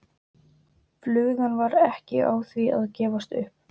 Flugan var ekki á því að gefast upp.